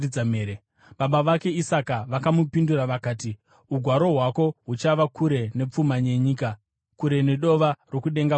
Baba vake Isaka vakamupindura vakati, “Ugaro hwako huchava kure nepfuma yenyika, kure nedova rokudenga kumusoro.